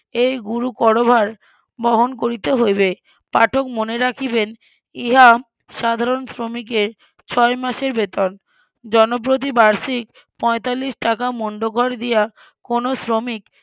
এই গুরু করভার বহন করিতে হইবে পাঠক মনে রাখিবেন ইহা সাধারণ শ্রমিকের ছয় মাসের বেতন জনপ্রতি বার্ষিক পঁয়তাল্লিশ টাকা মন্ডকর দিয়া কোনো শ্রমিক